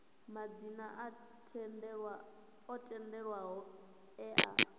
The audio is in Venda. madzina o tendelwaho e a